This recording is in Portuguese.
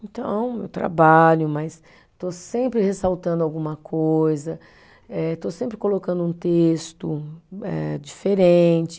Então, eu trabalho, mas estou sempre ressaltando alguma coisa, eh estou sempre colocando um texto eh diferente.